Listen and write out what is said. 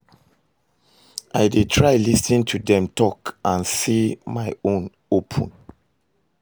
I dey try lis ten to dem talk and say my own open.